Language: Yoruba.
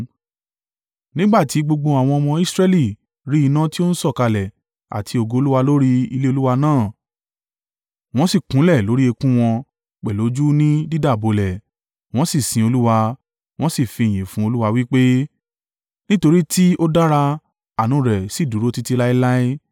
Nígbà tí gbogbo àwọn ọmọ Israẹli rí iná tí ó ń sọ̀kalẹ̀ àti ògo Olúwa lórí ilé Olúwa náà, wọ́n sì kúnlẹ̀ lórí eékún wọn pẹ̀lú ojú ni dídàbolẹ̀, wọ́n sì sin Olúwa, wọ́n sì fi ìyìn fún Olúwa wí pé, “Nítorí tí ó dára; àánú rẹ̀ sì dúró títí láéláé.”